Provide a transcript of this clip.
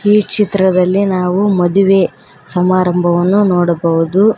ಈ ಚಿತ್ರದಲ್ಲಿ ನಾವು ಮದುವೆ ಸಮಾರಂಭವನ್ನು ನೋಡಬಹುದು.